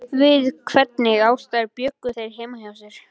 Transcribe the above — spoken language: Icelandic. Við hvernig aðstæður bjuggu þær heima hjá sér?